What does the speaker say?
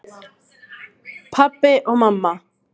Pabbi og mamma